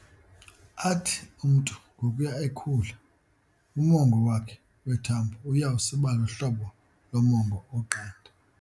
Athi umntu ngokuya ekhula, umongo wakhe wethambo uya usiba luhlobo lomongo oqanda.